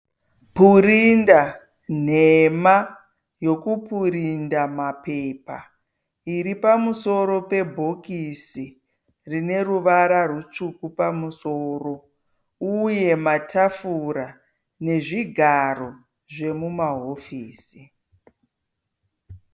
Purinda nhema yokupurinda mapepa iri pamusoro pebhokisi rine ruvara rutsvuku pamusoro uye matafura nezvigaro zvomumahofisi.